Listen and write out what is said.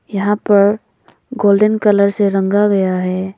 यहां पर golden colour से रंगा गया है।